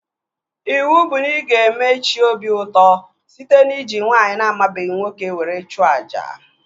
Iwu bụ na ị ga-eme chi obi ụtọ site n'iji nwaanyị na amabeghị nwoke were chụọ àjà!